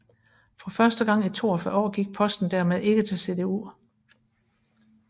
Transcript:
For første gang i 42 år gik posten dermed ikke til CDU